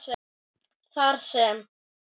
Þar sem